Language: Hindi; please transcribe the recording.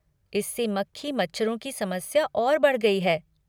इससे मक्खी मच्छरों की समस्या और बढ़ गई है।